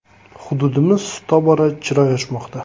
Hududimiz tobora chiroy ochmoqda”.